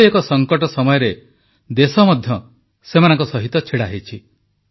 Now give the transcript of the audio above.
ଏଭଳି ଏକ ସଂକଟ ସମୟରେ ଦେଶ ମଧ୍ୟ ସେମାନଙ୍କ ସହିତ ଛିଡ଼ାହୋଇଛି